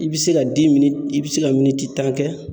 I be se ka i be se ka tan kɛ.